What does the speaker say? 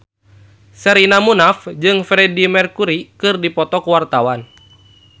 Sherina Munaf jeung Freedie Mercury keur dipoto ku wartawan